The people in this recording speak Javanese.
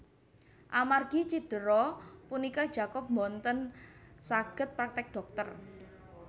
Amargi cidera punika Jacob boten saged praktek dhokter